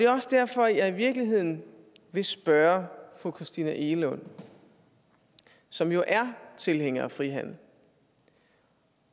også derfor jeg i virkeligheden vil spørge fru christina egelund som jo er tilhænger af frihandel